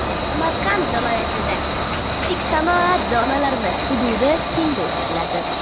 Samarqand viloyatida kichik sanoat zonalari hududi kengaytiriladi.